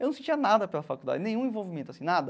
Eu não sentia nada pela faculdade, nenhum envolvimento assim, nada.